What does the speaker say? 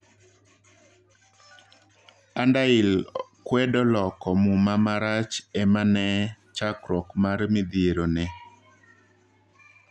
Underhill kwedo loko muma marach ema ne chakruok mar midhiero ne.